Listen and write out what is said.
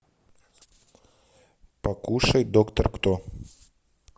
покушай доктор кто